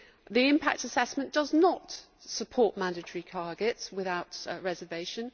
The impact assessment does not support mandatory targets without reservation.